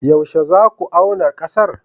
Yaushe za ku auna ƙasar?